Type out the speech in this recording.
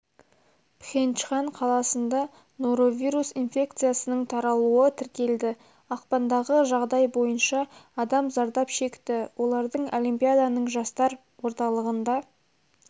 пхенчхан қаласында норовирус инфекциясының таралуы тіркелді ақпандағы жағдай бойынша адам зардап шекті олардың олимпиаданың жастар орталығында